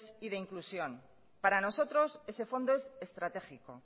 y de inclusión para nosotros ese fondo es estratégico